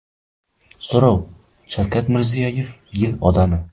So‘rov: Shavkat Mirziyoyev Yil odami.